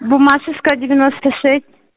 буммашевская девяносто шесть